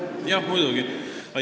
Aitäh!